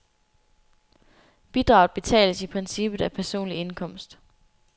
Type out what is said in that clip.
Bidraget betales i princippet af personlig indkomst.